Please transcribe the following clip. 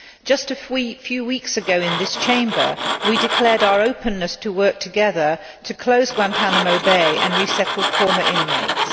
Just a few weeks ago in this Chamber we declared our openness to work together to close Guantánamo Bay and resettle former inmates.